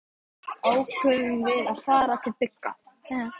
Eftir nokkrar vangaveltur ákváðum við að fara til Bigga.